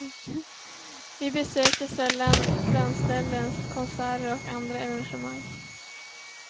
Vi besöker sällan dansställen, konserter eller andra evenemang.